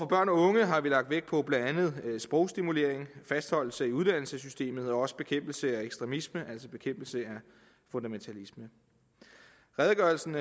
børn og unge har vi lagt vægt på blandt andet sprogstimulering fastholdelse i uddannelsessystemet og også bekæmpelse af ekstremisme altså bekæmpelse af fundamentalisme redegørelsen